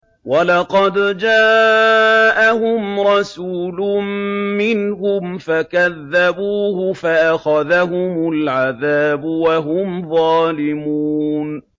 وَلَقَدْ جَاءَهُمْ رَسُولٌ مِّنْهُمْ فَكَذَّبُوهُ فَأَخَذَهُمُ الْعَذَابُ وَهُمْ ظَالِمُونَ